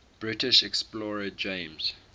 british explorer james